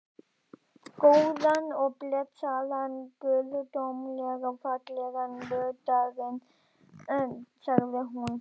Góðan og blessaðan, guðdómlega fallegan vordaginn, sagði hún.